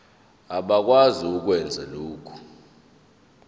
abakwazi ukwenza lokhu